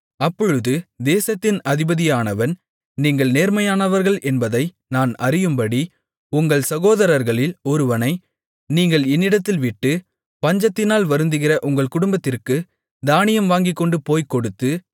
அப்பொழுது தேசத்தின் அதிபதியானவன் நீங்கள் நேர்மையானவர்கள் என்பதை நான் அறியும்படி உங்கள் சகோதரர்களில் ஒருவனை நீங்கள் என்னிடத்தில் விட்டு பஞ்சத்தினால் வருந்துகிற உங்கள் குடும்பத்திற்குத் தானியம் வாங்கிக்கொண்டுபோய்க் கொடுத்து